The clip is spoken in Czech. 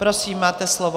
Prosím, máte slovo.